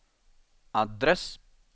adress